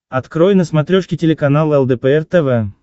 открой на смотрешке телеканал лдпр тв